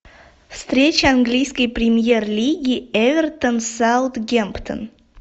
встреча английской премьер лиги эвертон саутгемптон